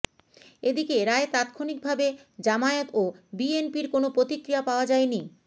এদিকে রায়ে তাৎক্ষণিকভাবে জামায়াত ও বিএনপির কোনো প্রতিক্রিয়া পাওয়া যায়নি